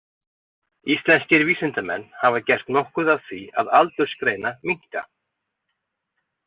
Íslenskir vísindamenn hafa gert nokkuð af því að aldursgreina minka.